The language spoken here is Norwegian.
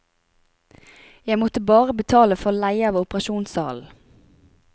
Jeg måtte bare betale for leie av operasjonssalen.